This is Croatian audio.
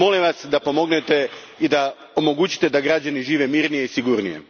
Molim vas da pomognete i da omogućite građanima da žive mirnije i sigurnije.